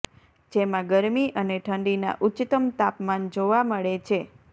જેમાં ગરમી અને ઠંડીના ઉચ્ચતમ તાપમાન જોવા મળે છે